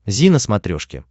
зи на смотрешке